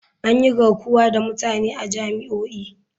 An yi garkuwa da mutane a jami'o'i.